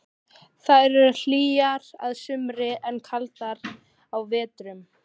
Þær eru hlýjar að sumri en kaldar á vetrum.